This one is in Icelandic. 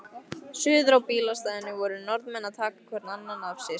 Suður á bílastæðinu voru Norðmenn að taka hvorn annan afsíðis.